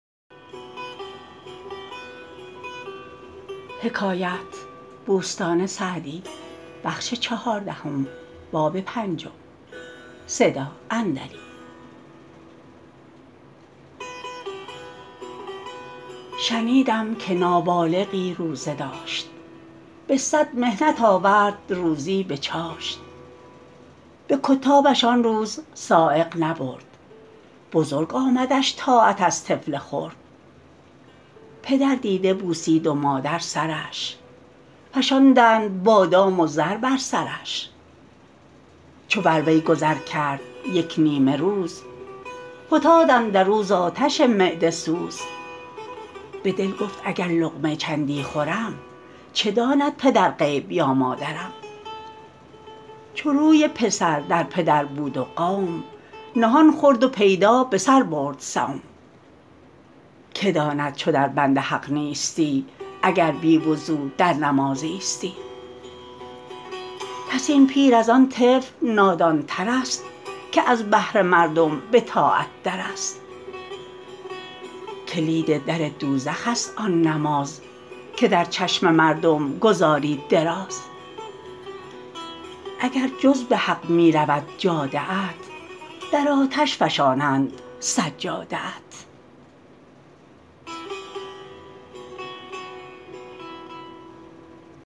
شنیدم که نابالغی روزه داشت به صد محنت آورد روزی به چاشت به کتابش آن روز سایق نبرد بزرگ آمدش طاعت از طفل خرد پدر دیده بوسید و مادر سرش فشاندند بادام و زر بر سرش چو بر وی گذر کرد یک نیمه روز فتاد اندر او ز آتش معده سوز به دل گفت اگر لقمه چندی خورم چه داند پدر غیب یا مادرم چو روی پسر در پدر بود و قوم نهان خورد و پیدا به سر برد صوم که داند چو در بند حق نیستی اگر بی وضو در نماز ایستی پس این پیر از آن طفل نادان تر است که از بهر مردم به طاعت در است کلید در دوزخ است آن نماز که در چشم مردم گزاری دراز اگر جز به حق می رود جاده ات در آتش فشانند سجاده ات